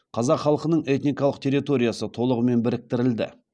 қазақ халқының этникалық территориясы толығымен біріктірілді